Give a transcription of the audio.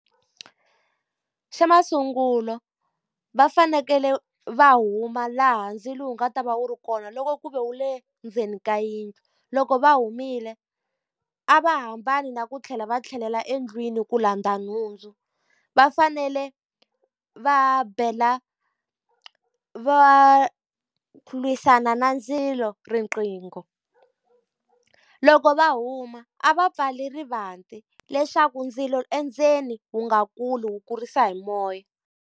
Xa masungulo va fanekele va huma laha ndzilo wu nga ta va wu ri kona loko ku ve wu le ndzeni ka yindlu. Loko va humile a va hambane na ku tlhela va tlhelela endlwini ku landza nhundzu. Va fanele va bela valwisananandzilo riqingho. Loko va huma a va pfale rivanti leswaku ndzilo endzeni wu nga kuli wu kurisa hi moya.